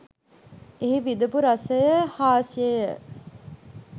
එහි විඳපු රසය හාස්‍යය